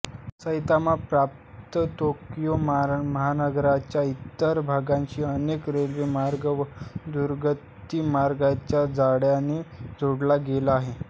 Saitama प्रांत Tokyo महानगराच्या इतर भागांशी अनेक रेल्वेमार्ग व दृतगती महामार्गांच्या जाळ्याने जोडला गेला आहे